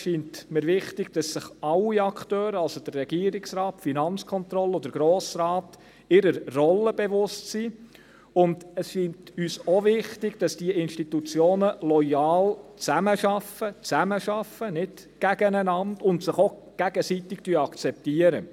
Es scheint mir wichtig, dass sich alle Akteure, also der Regierungsrat, die FK und der Grosse Rat, ihrer Rolle bewusst sind, und es scheint uns auch wichtig, dass diese Institutionen loyal zusammenarbeiten, nicht gegeneinander, und sich auch gegenseitig akzeptieren.